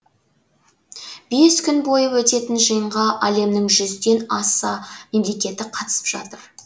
бес күн бойы өтетін жиынға әлемнің жүзден аса мемлекеті қатысып жатыр